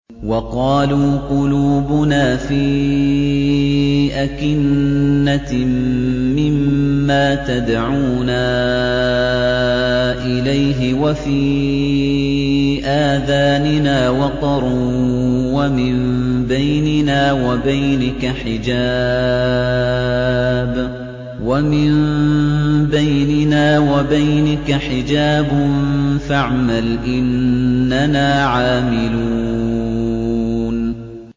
وَقَالُوا قُلُوبُنَا فِي أَكِنَّةٍ مِّمَّا تَدْعُونَا إِلَيْهِ وَفِي آذَانِنَا وَقْرٌ وَمِن بَيْنِنَا وَبَيْنِكَ حِجَابٌ فَاعْمَلْ إِنَّنَا عَامِلُونَ